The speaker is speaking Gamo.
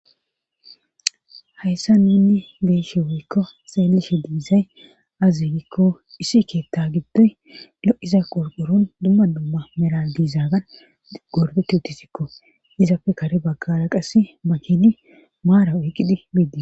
hayssa ninni beeshe woykko seellishe digizay azigikko isi keetta giddoy lo7iza qurqurun dumma dumma meradiizaagan gordetti uttisikko izapfe kare baggara qasi makini maara oyqqidi biidi